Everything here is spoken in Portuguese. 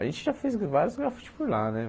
A gente já fez vários grafites por lá, né?